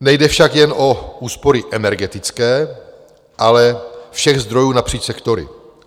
Nejde však jen o úspory energetické, ale všech zdrojů napříč sektory.